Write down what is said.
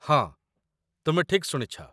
ହଁ, ତୁମେ ଠିକ୍ ଶୁଣିଛ